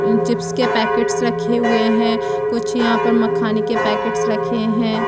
Chips के packet रखे हुए हैं कुछ यहाँ पर मखाने के पैकेट रखे है।